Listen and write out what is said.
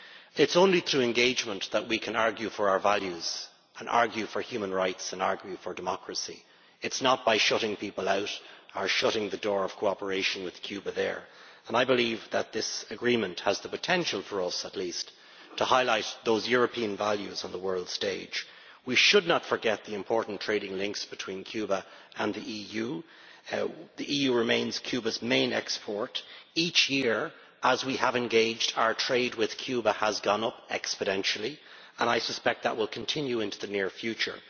It is only through engagement that we can argue for our values, human rights and democracy. It is not by shutting people out or shutting the door of cooperation with Cuba. I believe that this agreement has the potential, for us at least, to highlight those European values on the world stage. We should not forget the important trading links between Cuba and the EU the EU remains Cuba's main export partner. Each year, as we have engaged, our trade with Cuba has gone up exponentially, and I suspect that that will continue into the near future.